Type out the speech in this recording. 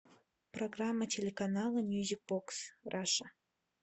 программа телеканала мьюзик бокс раша